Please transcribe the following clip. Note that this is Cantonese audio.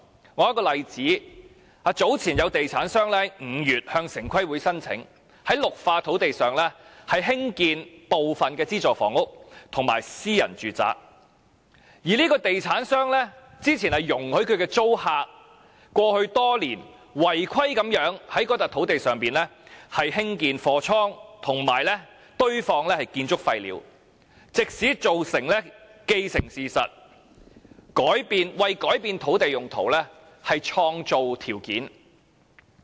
我說一個例子，有地產商在5月向城市規劃委員會申請，在綠化土地上興建部分資助房屋及私人住宅，而該地產商之前容許其租客過去多年違規在該土地上興建貨倉及堆放建築廢料，藉此造成既定事實，為改變土地用途創造條件。